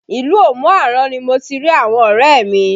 Ilu Omu Aran ni mo ti rí àwọn ọrẹ mi